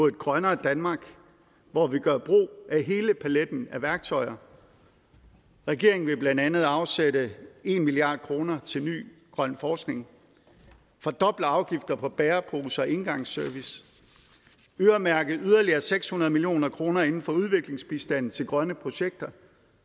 et grønnere danmark hvor vi gør brug af hele paletten af værktøjer regeringen vil blandt andet afsætte en milliard kroner til ny grøn forskning fordoble afgifterne på bæreposer og engangsservice og øremærke yderligere seks hundrede million kroner inden for udviklingsbistand til grønne projekter